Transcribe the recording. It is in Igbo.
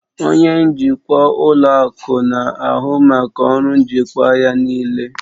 Onye njikwa ụlọ akụ na-ahụ maka ọrụ njikwa ya niile